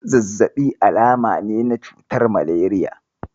Zazzaɓi alama ne na cutar malariya.